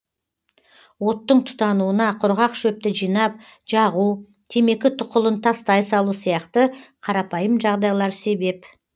оттың тұтануына құрғақ шөпті жинап жағу темекі тұқылын тастай салу сияқты қарапайым жағдайлар себеп